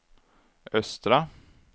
östra